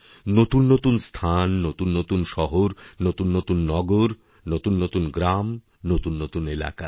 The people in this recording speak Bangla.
নতুন নতুন স্থান নতুন নতুন শহর নতুন নতুন নগর নতুন নতুন গ্রাম নতুননতুন এলাকা